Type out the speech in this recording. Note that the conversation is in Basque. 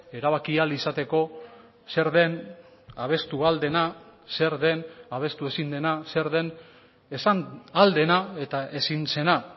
erabaki ahal izateko zer den abestu ahal dena zer den abestu ezin dena zer den esan ahal dena eta ezin zena